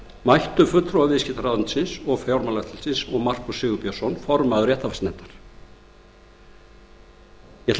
mættu fulltrúar viðskiptaráðuneytisins og fjármálaeftirlitsins og markús sigurbjörnsson formaður réttarfarsnefndar ég ætla rétt að rekja það sem